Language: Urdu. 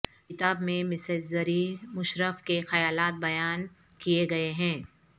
کتاب میں مسز زریں مشرف کے خیالات بیان کیے گئے ہیں